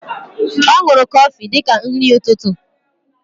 O nuru Kofi dika nri ututu.